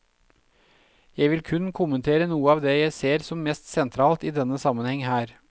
Jeg vil kun kommentere noe av det jeg ser som mest sentralt i denne sammenheng her.